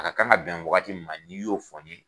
A ka kan ka bɛn waagati min ma ni y'o fɔ n ye.